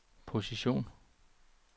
position